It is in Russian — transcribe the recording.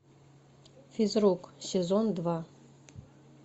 физрук сезон два